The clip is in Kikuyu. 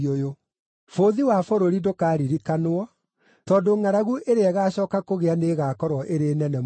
Bũthi wa bũrũri ndũkaririkanwo, tondũ ngʼaragu ĩrĩa ĩgacooka kũgĩa nĩĩgakorwo ĩrĩ nene mũno.